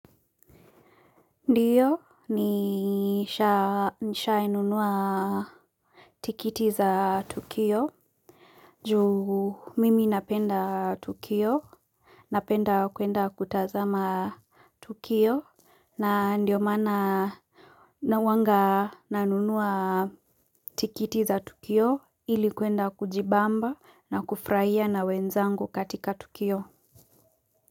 Ndiyo, nisha inunua tikiti za tukio, juu mimi napenda tukio, napenda kuenda kutazama tukio, na ndio mana na wanga nanunua tikiti za tukio, ili kuenda kujibamba na kufurahia na wenzangu katika tukio.